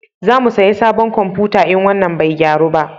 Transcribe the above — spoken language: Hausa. Za mu saya sabon komfuta in wannan bai gyaru ba